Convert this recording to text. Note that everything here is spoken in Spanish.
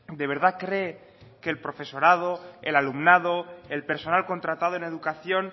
de verdad cree que el profesorado el alumnado el personal contratado en educación